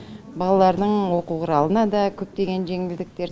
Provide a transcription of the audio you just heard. балалардың оқу құралына да көптеген жеңілдіктер